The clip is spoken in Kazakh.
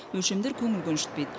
өлшемдер көңіл көншітпейді